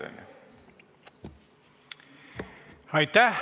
Aitäh!